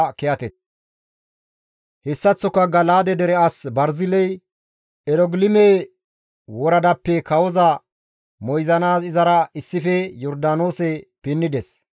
Hessaththoka Gala7aade dere as Barziley Erogilime woradappe kawoza moyzanaas izara issife Yordaanoose pinnides.